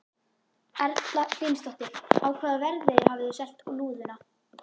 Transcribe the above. Erla Hlynsdóttir: Á hvaða verði hafið þið selt lúðuna?